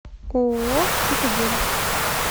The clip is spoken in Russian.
ооо цитадель